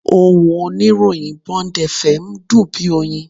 Ohùn oníròyìn Bond FM dùn bí oyin